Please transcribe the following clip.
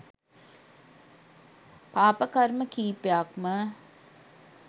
පාප කර්ම කීපයක්ම.